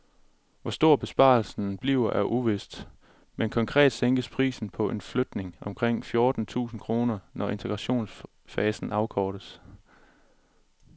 Hvor stor besparelsen bliver er uvist, men konkret sænkes prisen på en flygtning med omkring fjorten tusind kroner, når integrationsfasen afkortes.